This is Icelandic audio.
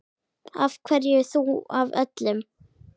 Af hverju þú af öllum?